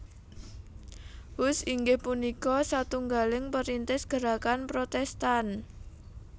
Hus inggih punika satunggaling perintis gerakan Protestan